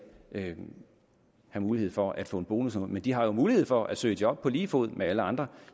vil have mulighed for at få en bonus men de har jo mulighed for at søge job på lige fod med alle andre